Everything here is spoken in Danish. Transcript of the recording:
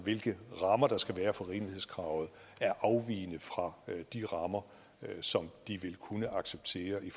hvilke rammer der skal være for rimelighedskravet er afvigende fra de rammer som de vil kunne acceptere i